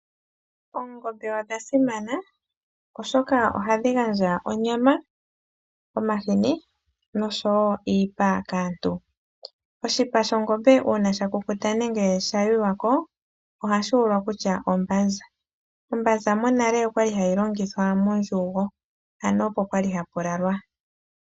Oongombe odhasimana oshoka ohadhi gandja onyama, omahini no sho wo iipa kaantu. Oshipa shongombe una shakukuta nenge shayuywa ko ohashi ulwa kutya ombanza, ombanza monale oyali hayi longithwa mondjugo, ano oko kwali haku lalwa.